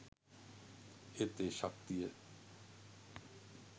ඒත් ඒ ශක්තිය